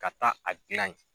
Ka taa a gilan ye.